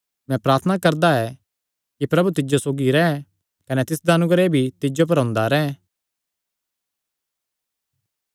मैं प्रार्थना करदा ऐ कि प्रभु तिज्जो सौगी रैंह् कने तिसदा अनुग्रह भी तिज्जो पर हुंदा रैंह्